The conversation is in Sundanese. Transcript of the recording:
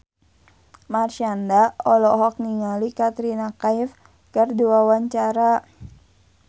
Marshanda olohok ningali Katrina Kaif keur diwawancara